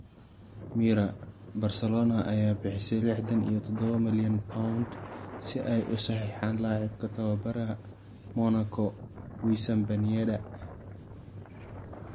(Mirror) Barcelona ayaa bixisay lixdan iyo dodobo malyan pond si ay u saxiixaan laacibka tababaraha Monaco Wissam Ben Yedder.